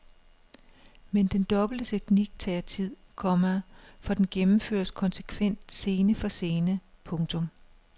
Men den dobbelte teknik tager sin tid, komma for den gennemføres konsekvent scene for scene. punktum